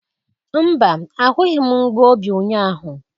Mba, ahụghị m mgbu obi ụnyaahụ.